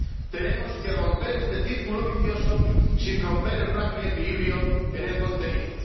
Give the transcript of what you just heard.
Tenemos que romper este círculo vicioso sin romper el frágil equilibrio en el contenido.